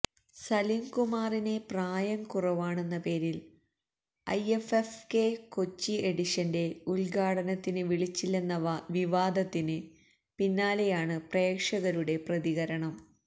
സലീം കുമാറിനെ പ്രായം കുറവാണെന്ന പേരില് ഐഎഫ്എഫ്കെ കൊച്ചി എഡിഷന്റെ ഉദ്ഘാടനത്തിന് വിളിച്ചില്ലെന്ന വിവാദത്തിന് പിന്നാലെയാണ് പ്രേക്ഷകരുടെ പ്രതികരണം